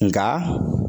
Nka